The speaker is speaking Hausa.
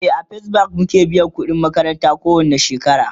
e a first bank muke biyan ƙudin makaranta ko wani shekara